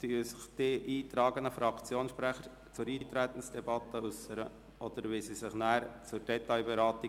Wollen sich die eingetragenen Fraktionssprecher zum Eintreten äussern oder zur Detailberatung?